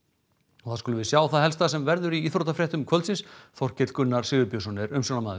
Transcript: og þá skulum við sjá það helsta sem verður í íþróttafréttum kvöldsins Þorkell Gunnar Sigurbjörnsson er umsjónarmaður